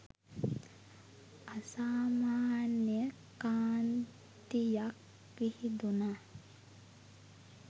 අසාමාන්‍ය කාන්තියක් විහිදුනා